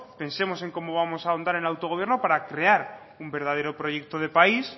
pensemos en cómo vamos a ahondar en el autogobierno para crear un verdadero proyecto de país